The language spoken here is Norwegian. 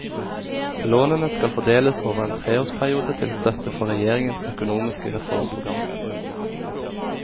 Lånene skal fordeles over en treårsperiode til støtte for regjeringens økonomiske reformprogram.